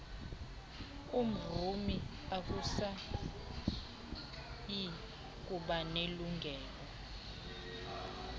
mrhumi akasayi kubanelungelo